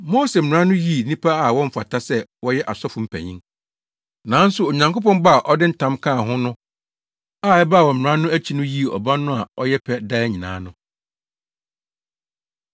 Mose Mmara no yi nnipa a wɔmfata sɛ wɔyɛ asɔfo mpanyin, nanso Onyankopɔn bɔ a ɔde ntam kaa ho no a ɛbaa wɔ Mmara no akyi no yii Ɔba no a ɔyɛ pɛ daa nyinaa no.